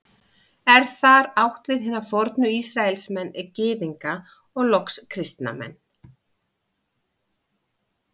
Er þar átt við hina fornu Ísraelsmenn, Gyðinga og loks kristna menn.